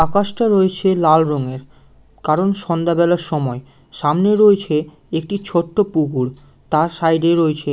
আকাশ টা রয়েছে লাল রঙের কারণ সন্ধ্যাবেলার সময় সামনে রয়েছে একটি ছোট্ট পুকুর তার সাইড -এ রয়েছে--